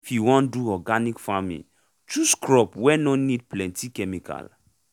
if you won do organic farming chose crop wey nor need plenty chemical